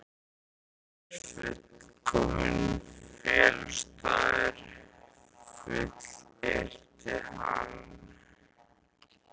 Þetta er fullkominn felustaður, fullyrti hann.